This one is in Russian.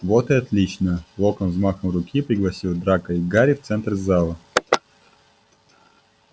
вот и отлично локонс взмахом руки пригласил драко и гарри в центр зала